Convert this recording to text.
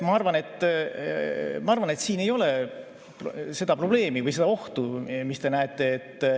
Ma arvan, et siin ei ole seda probleemi või ohtu, mis te näete.